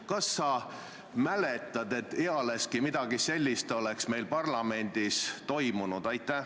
Kas sa mäletad, et ealeski midagi sellist oleks meil parlamendis toimunud?